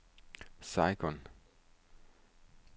Saigon